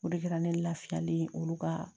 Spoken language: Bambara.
O de kɛra ne lafiyalen ye olu ka